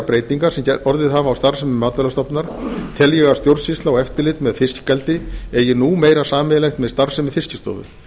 breytinga sem orðið hafa á starfsemi matvælastofnunar tel ég að stjórnsýsla og eftirlit með fiskeldi eigi nú meira sameiginlegt með starfsemi fiskistofu